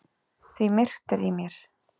Því myrkt er í mér.